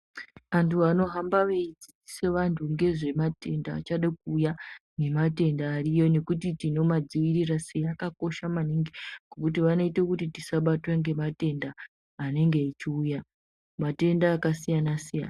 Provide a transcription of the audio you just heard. Antu ano hamba veyi dzidzise vantu ngezve matenda achade ku uya ne matenda ariyo nekuti tinoma dzivirira sei akakosha maningi ngekuti vano ite kuti tisa batwe nge matenda anenge echi uya matenda aka siyana siyana.